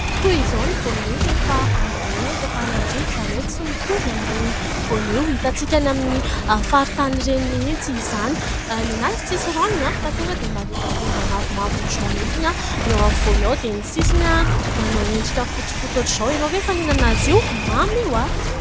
Toy izoa ny voanio rehefa ambolena eto Antananarivo izany hoe tsy mitovy amin'ireny voanio hitantsika any amin'ny faritany ireny mihitsy izany. Ny azy tsy misy ranony fa tonga dia malodaloda mavomavo ohatr'izao mihitsy ny ao afovoany ao dia ny sisiny manao endrika fotsifotsy ohatr'izao. Ianao ve efa nihinana azy io ? Mamy io.